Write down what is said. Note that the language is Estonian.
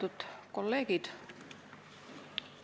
Lugupeetud kolleegid!